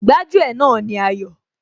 Gbájú ẹ̀ náà ni Ayọ̀